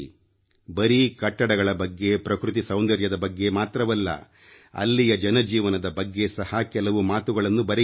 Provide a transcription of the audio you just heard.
ಬರೀ ಕಟ್ಟಡಗಳ ಬಗ್ಗೆ ಪ್ರಕೃತಿ ಸೌಂದರ್ಯದ ಬಗ್ಗೆ ಮಾತ್ರವಲ್ಲ ಅಲ್ಲಿಯ ಜನಜೀವನದ ಬಗ್ಗೆ ಸಹ ಕೆಲವು ಮಾತುಗಳನ್ನು ಬರೆಯಿರಿ